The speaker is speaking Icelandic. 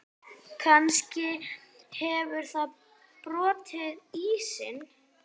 Kannski hefur það brotið ísinn.